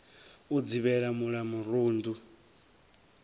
u dzivhela mul a murundu